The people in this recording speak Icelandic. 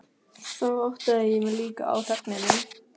Þá áttaði ég mig líka á þögninni.